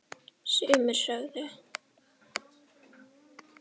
Sumir sögðu: